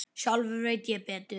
Sjálfur veit ég betur.